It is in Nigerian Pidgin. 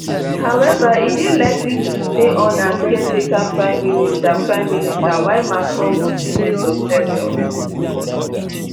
howeva e dey likely to stay on as caretaker prime minister prime minister while macron go choose a successor